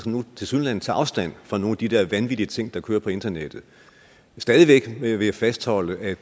nu tilsyneladende tager afstand fra nogle af de der vanvittige ting der kører på internettet stadig væk vil jeg fastholde at